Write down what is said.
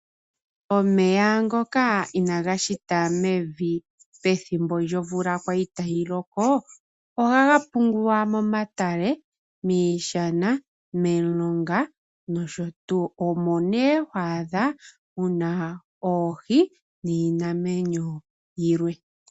Omeya ngoka inaaga hita mevi, pethimbo omvula kwali tayi loko, ohaga pungulwa momatale, miishana, momilonga, nosho tuu. Omo ne ho adha oohi, niinamwenyo yilwe.